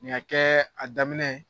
Nin ka kɛ a daminɛ ye